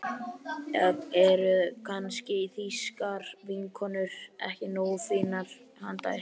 Eða eru kannski þýskar vinnukonur ekki nógu fínar handa ykkur?